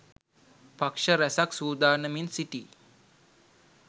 පක්ෂ රැසක් සූදානමින් සිටියි